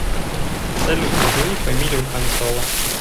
салют назови фамилию хан соло